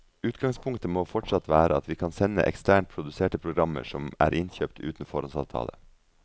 Utgangspunktet må fortsatt være at vi kan sende eksternt produserte programmer som er innkjøpt uten foråndsavtale.